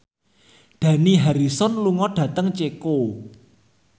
Dani Harrison lunga dhateng Ceko